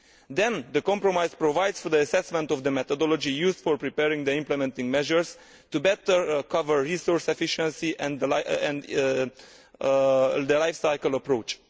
Then, the compromise provides for the assessment of the methodology used for preparing the implementing measures to better cover resource efficiency and the life cycle approach.